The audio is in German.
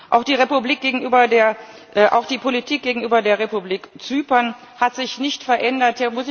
Auch die Politik gegenüber der Republik Zypern hat sich nicht verändert.